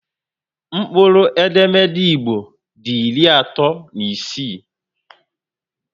Mkpụrụ edemede Igbo dị iri atọ na isii